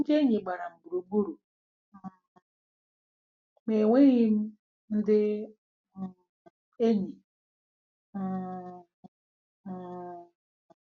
‘Ndị enyi gbara m gburugburu um ma enweghị m ndị um enyi. um ' um '